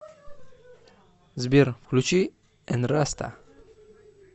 сбер включи энраста